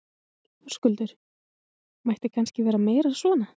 Höskuldur: Mætti kannski vera meira svona?